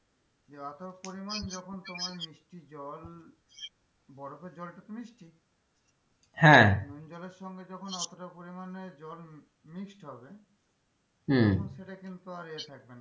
এতো পরিমাণ যখন তোমার মিষ্টি জল বরফের জলটা তো মিষ্টি? হ্যাঁ নুন জলের সঙ্গে যখন অতটা পরিমানে জল mixed হবে হম তখন সেটা কিন্তু আর ইয়ে থাকবে না,